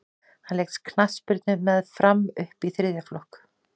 hann lék knattspyrnu með fram upp í þriðja flokk